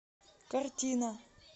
картина